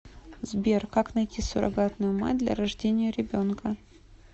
сбер как найти суррогатную мать для рождения ребенка